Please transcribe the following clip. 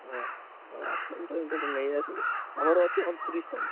ହଁ ହଉ ଆଶା ତମେ ମୁଁ ତ ନେଇ ଆସିବି ଆମର ଅଛି ଅଣତିରିଶ ତାରିଖ।